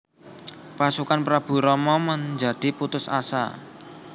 Pasukan Prabu Rama menjadi putus asa